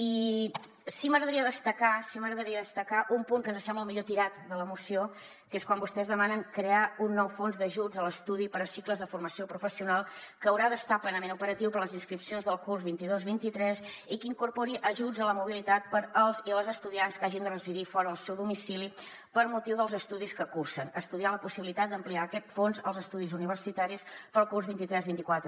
i sí que m’agradaria destacar sí que m’agradaria destacar un punt que ens sembla el millor tirat de la moció que és quan vostès demanen crear un nou fons d’ajuts a l’estudi per a cicles de formació professional que haurà d’estar plenament operatiu per a les inscripcions del curs vint dos vint tres i que incorpori ajuts a la mobilitat per als i les estudiants que hagin de residir fora del seu domicili per motiu dels estudis que cursen estudiar la possibilitat d’ampliar aquest fons als estudis universitaris per al curs vint tres vint quatre